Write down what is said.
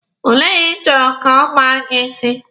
Olee onye ị chọrọ ka ọ kpaa gị isi?